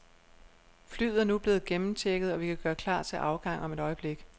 Flyet er nu blevet gennemchecket, og vi kan gøre klar til afgang om et øjeblik.